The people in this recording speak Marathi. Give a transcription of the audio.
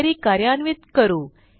क्वेरी कार्यान्वित करू